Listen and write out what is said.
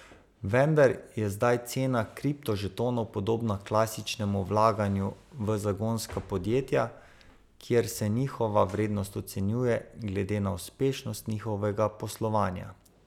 Vendar je zdaj cena kriptožetonov podobna klasičnemu vlaganju v zagonska podjetja, kjer se njihova vrednost ocenjuje, glede na uspešnost njihovega poslovanja.